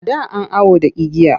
A da an awo da igiya.